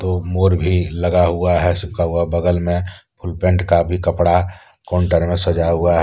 दो मोर भी लगा हुआ है सूखा हुआ बगल में फुल पैंट का भी कपड़ा काउंटर में सजा हुआ है।